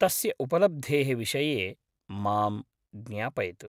तस्य उपलब्धेः विषये मां ज्ञापयतु।